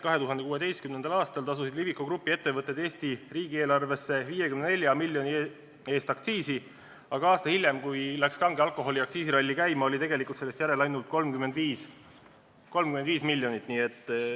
2016. aastal tasusid Liviko grupi ettevõtted Eesti riigieelarvesse 54 miljoni ulatuses aktsiisi, aga aasta hiljem, kui kange alkoholi ralli oli käima läinud, oli sellest järel ainult 35 miljonit.